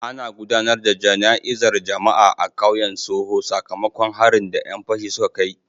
Ana gudanar da jana'izar jama'a a kauyen Soho sakamakon harin da 'yan fashin suka kai.